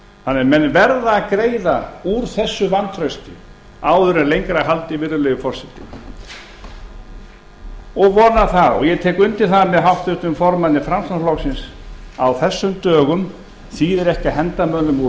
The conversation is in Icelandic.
að menn verða að greiða úr þessu vantrausti áður en lengra er haldið virðulegi forseti ég vona það og tek undir það með háttvirtum formanni framsóknarflokksins að á þessum dögum þýðir ekki að henda mönnum úr